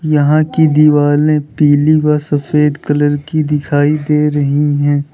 यहां की दीवाले पीली व सफेद कलर की दिखाई दे रही हैं।